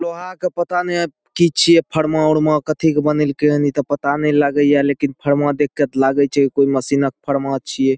लोहा के पता ने की छीये फरमा उरमा कथी के बनेलके न ई ते पता ने लागे या लेकिन फरमा देख के ते लागे छै कोई मशीनों के फरमा छीये ।